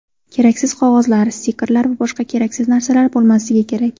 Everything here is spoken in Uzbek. Keraksiz qog‘ozlar, stikerlar, boshqa keraksiz narsalar bo‘lmasligi kerak.